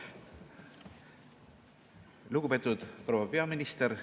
Lugupeetud proua peaminister!